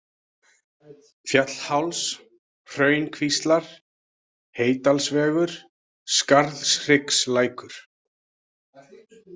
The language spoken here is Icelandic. Fjallháls, Hraunkvíslar, Heydalsvegur, Skarðhryggslækur